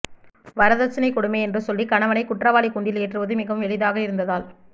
வரதட்சணைக் கொடுமை என்று சொல்லி கணவனைக் குற்றவாளிக் கூண்டில் ஏற்றுவது மிகவும் எளிதாக இருந்ததால்